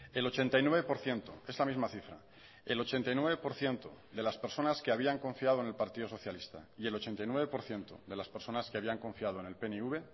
el ochenta y nueve por ciento esta misma cifra el ochenta y nueve por ciento de las personas que habían confiado en el partido socialista y el ochenta y nueve por ciento de las personas que habían confiado en el pnv